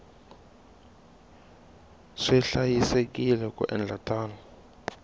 swi hlayisekile ku endla tano